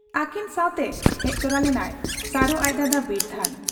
ᱟᱹᱠᱤᱱ ᱥᱟᱶᱛᱮ ᱦᱮᱡ ᱛᱚᱨᱟ ᱞᱮᱱᱟᱭ ᱥᱟᱨᱚ ᱟᱡ ᱫᱟᱫᱟ ᱵᱤᱨᱫᱷᱟᱹᱱ ᱾